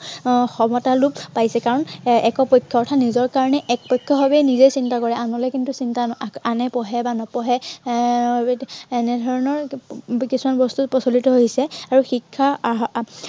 আহ সমতা লোপ পাইছে। কাৰন এৰ একপক্ষীয়া অৰ্থাৎ নিজৰ কাৰনে একপক্ষীয় ভাৱে নিজেই চিন্তা কৰে। আনলৈ কিন্তু চিন্তা, আনে পঢ়ে বা নপঢ়ে এৰ এৰ এনেধৰনৰ এৰ কিছুমান বস্তু প্ৰচলিত হৈছে আৰু শিক্ষা আহ